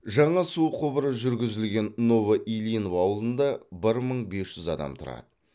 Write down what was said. жаңа су құбыры жүргізілген новоильинов ауылында бір мың бес жүз адам тұрады